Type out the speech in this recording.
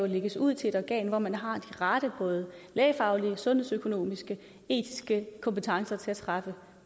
lægges ud til et organ hvor man har de rette både lægefaglige sundhedsøkonomiske og etiske kompetencer til at træffe